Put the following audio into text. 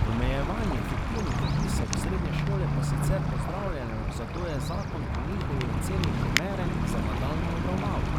Omejevanje fiktivnih vpisov v srednje šole pa sicer pozdravljajo, zato je zakon po njihovi oceni primeren za nadaljnjo obravnavo.